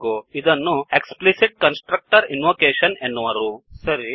ಇದನ್ನು explicit constructor invocation explicit constructor invocation ಎನ್ನುವರು